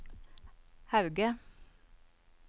Hauge